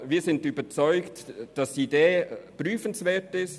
– Deshalb sind wir überzeugt, dass die Idee prüfenswert ist.